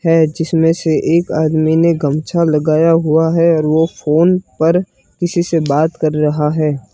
है जिसमें से एक आदमी ने गमछा लगाया हुआ है और वो फोन पर किसी से बात कर रहा है।